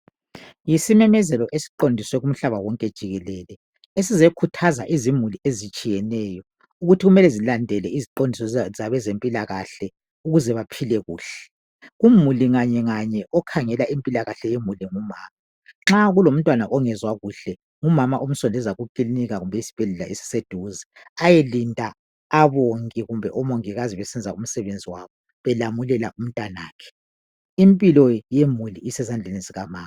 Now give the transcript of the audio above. Yisimemezelo esiqondiswe kumhlaba wonke jikelele esizekhuthaza izimuli ezitshiyeneyo ukuthi kumele zilandele iziqondiso zabezempilakahle ukuze baphile kuhle. Kumuli nganyenganye okhangela impilakahle yemuli ngumama. Nxa kulomntwana ongezwa kuhle ngumama omsondeza ekilinika kumbe esibhedlela esiseduze ayelinda, abonge kumbe omongikazi besenza umsebenzi wabo belamulela umntanakhe. Impilo yemuli isezandleni zikamama.